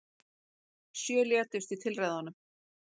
Sjö létust í tilræðunum